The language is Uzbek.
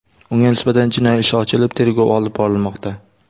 Unga nisbatan jinoiy ish ochilib, tergov olib borilmoqda.